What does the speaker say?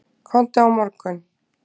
Komdu á morgun.